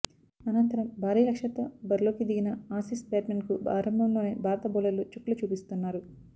అనంతరం భారీ లక్ష్యంతో బరిలోకి దిగిన ఆసీస్ బ్యాట్స్మెన్కు ఆరంభంలోనే భారత బౌలర్లు చుక్కలు చూపిస్తున్నారు